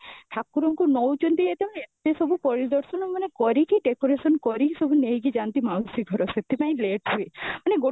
ଠାକୁରଙ୍କୁ ନୌଚାନ୍ତି ଯେତେ ବେଳେ ଏତେ ସବୁ ପରିଦର୍ଶନ ମାନେ କରିକି decoration ସାରିକି ସବୁ ନେଇକି ଯାନ୍ତି ମାଉସୀ ଘର ସେଠି ପାଇଁ late ହୁଏ